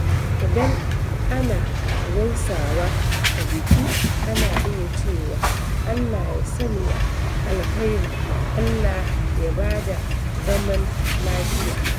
Idan ana gaisawa a biki, ana iya cewa "Allah ya sanya alkhairi, Allah ya ba da zaman lafiya."